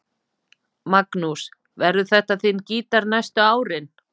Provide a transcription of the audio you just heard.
Magnús: Verður þetta þinn gítar næstu árin?